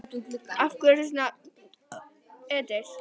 Af hverju ertu svona þrjóskur, Edil?